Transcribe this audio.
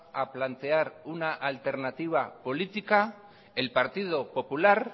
a plantear una alternativa política el partido popular